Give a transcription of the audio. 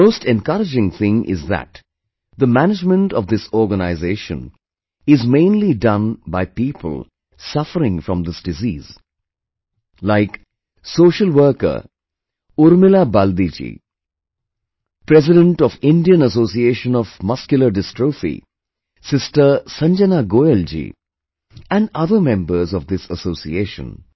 The most encouraging thing is that the management of this organization is mainly done by people suffering from this disease, like social worker, Urmila Baldi ji, President of Indian Association Of Muscular Dystrophy Sister Sanjana Goyal ji, and other members of this association